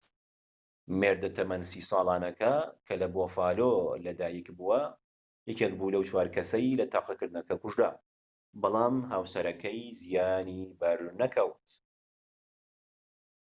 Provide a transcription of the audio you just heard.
مێردە تەمەن 30 ساڵانەکە کە لە بوفالۆ لە دایک بووە یەکێک بوو لەو چوار کەسەی لە تەقەکردنەکە کوژرا بەڵام هاوسەرەکەی زیانی بەر نەکەوت